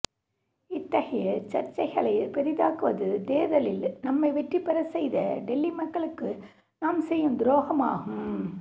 இத்தகைய சர்ச்சைகளைப் பெரிதாக்குவது தேர்தலில் நம்மை வெற்றி பெறச் செய்த டெல்லி மக்களுக்கு நாம் செய்யும் துரோகமாகும்